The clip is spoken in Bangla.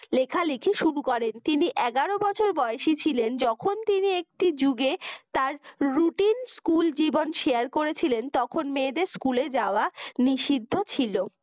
লেখালেখি শুরু করেন তিনি এগারো বছর বয়সী ছিলেন যখন তিনি একটি যুগে তার routine school জীবন share করেছিলেন তখন মেয়েদের school এ যাওয়া নিষিদ্ধ ছিল